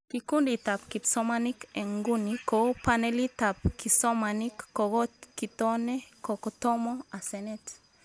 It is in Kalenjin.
Kikunditab kipsomanink eng nguni kou panelitab kisomanink kokokitone kotomo asenet